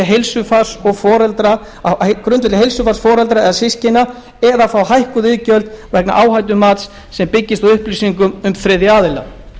er um persónutryggingu á grundvelli heilsufars foreldra eða systkina eða fá hækkuð iðgjöld vegna áhættumats sem byggist á upplýsingum um þriðja aðila